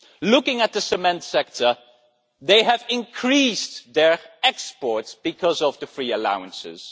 Looking at the cement sector, they have increased their exports because of the free allowances.